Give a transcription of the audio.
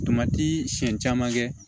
siɲɛ caman kɛ